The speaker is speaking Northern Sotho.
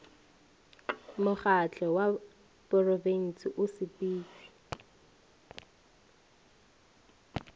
mokgatlo wa porofensi o sepetšwe